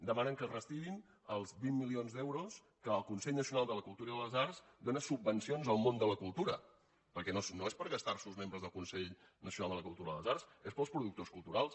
demanen que es retirin els vint milions d’euros que el consell nacional de la cultura i de les arts dóna en subvencions al món de la cultura perquè no és per gastar·s’ho els membres del consell nacional de la cultura i de les arts és per als productors culturals